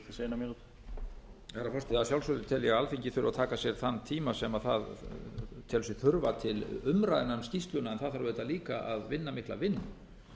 þurfa að taka sér þann tíma sem það telur sig þurfa til umræðna um skýrsluna en það þarf auðvitað líka að vinna mikla vinnu